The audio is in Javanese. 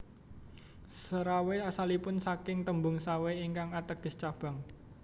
Serawai asalipun saking tembung Sawai ingkang ateges cabang